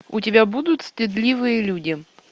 у тебя будут стыдливые люди